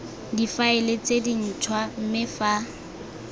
difaele tse dintshwa mme fa